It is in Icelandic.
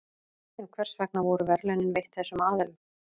En hvers vegna voru verðlaunin veitt þessum aðilum?